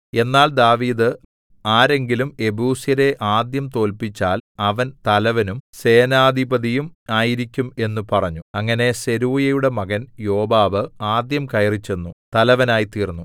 എന്നാൽ ദാവീദ് ആരെങ്കിലും യെബൂസ്യരെ ആദ്യം തോല്പിച്ചാൽ അവൻ തലവനും സേനാധിപതിയും ആയിരിക്കും എന്നു പറഞ്ഞു അങ്ങനെ സെരൂയയുടെ മകൻ യോവാബ് ആദ്യം കയറിച്ചെന്നു തലവനായിത്തീർന്നു